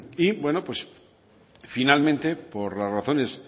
y bueno pues finalmente por las razones